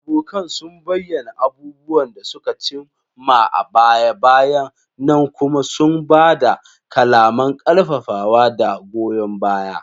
Abokan sun bayyana abubuwan da suka cim ma a baya-bayan nan kuma sun ba da kalaman ƙarfafawa da goyon baya.